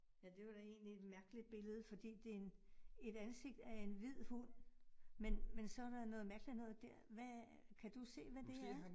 Ja, det var da egentlig et mærkeligt billede, fordi det en et ansigt af en hvid hund, men men så der noget mærkeligt noget dér. Hvad kan du se, hvad det er?